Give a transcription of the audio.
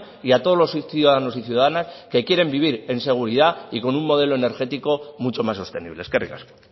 y a todos los ciudadanos y ciudadanas que quieren vivir en seguridad y con un modelo energético mucho más sostenible eskerrik asko